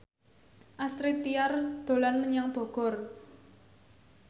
Astrid Tiar dolan menyang Bogor